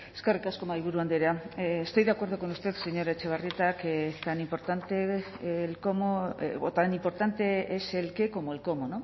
eskerrik asko mahaiburu andrea estoy de acuerdo con usted señora etxebarrieta que tan importante es el qué como el cómo